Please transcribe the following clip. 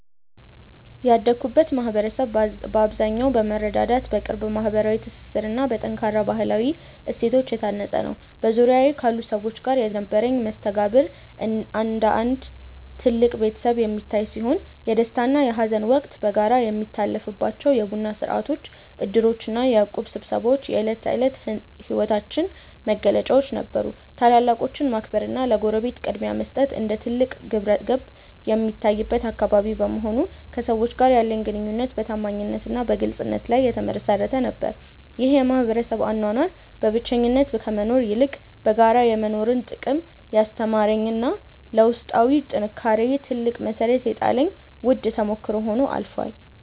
ያደግኩበት ማኅበረሰብ በአብዛኛው በመረዳዳት፣ በቅርብ ማኅበራዊ ትስስርና በጠንካራ ባሕላዊ እሴቶች የታነፀ ነበር። በዙሪያዬ ካሉ ሰዎች ጋር የነበረኝ መስተጋብር እንደ አንድ ትልቅ ቤተሰብ የሚታይ ሲሆን፣ የደስታና የሐዘን ወቅት በጋራ የሚታለፍባቸው የቡና ሥርዓቶች፣ ዕድሮችና የእቁብ ስብሰባዎች የዕለት ተዕለት ሕይወታችን መገለጫዎች ነበሩ። ታላላቆችን ማክበርና ለጎረቤት ቅድሚያ መስጠት እንደ ትልቅ ግብረገብ የሚታይበት አካባቢ በመሆኑ፣ ከሰዎች ጋር ያለኝ ግንኙነት በታማኝነትና በግልጽነት ላይ የተመሠረተ ነበር። ይህ የማኅበረሰብ አኗኗር በብቸኝነት ከመኖር ይልቅ በጋራ የመኖርን ጥቅም ያስተማረኝና ለውስጣዊ ጥንካሬዬ ትልቅ መሠረት የጣለልኝ ውድ ተሞክሮ ሆኖ አልፏል።